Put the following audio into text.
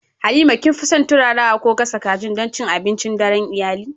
Halima, kin fi son turarawa ko gasa kajin don cin abincin daren iyali?